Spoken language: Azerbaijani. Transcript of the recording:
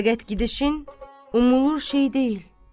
Fəqət gedişin umulur şey deyil.